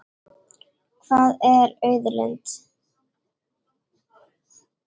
Hvað er auðlind?